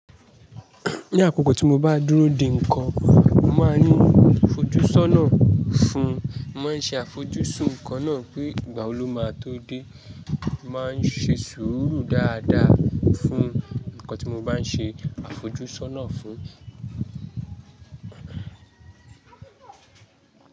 Ní àkókò tí mo bá dúró di nǹkan, mo máa ní àfojúsọ́nà fún un. Mo máa ṣe àfojúsùn nǹkan náà pé ìgbà wo ló máa tó dé. Mo máa ṣe sùúrù dáadáa fún nǹkan tí mo bá ń ṣe àfojúsọ́nà fún.